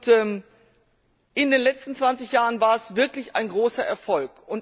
Und in den letzten 20 Jahren war es wirklich ein großer Erfolg.